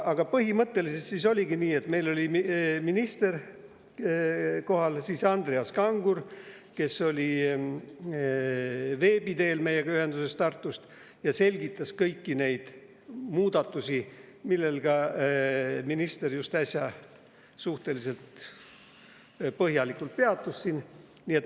Aga põhimõtteliselt oli nii, et meil oli minister kohal ja Andreas Kangur oli veebi teel meiega ühenduses Tartust ja selgitas kõiki neid muudatusi, millel ka minister äsja suhteliselt põhjalikult peatus.